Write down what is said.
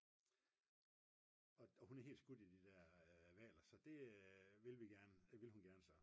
og hun er helt skudt i de der hvaler så det ville hun gerne